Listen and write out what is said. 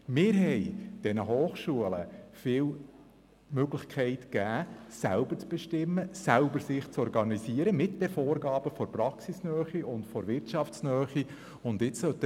Wir haben der Hochschule viele Möglichkeiten gegeben, selber zu bestimmen, sich selber zu organisieren und die Vorgaben der Praxis- und Wirtschaftsnähe umzusetzen.